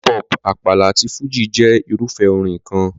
Hip hop, Àpàlà àti Fújì jẹ́ irúfẹ́ orin kan.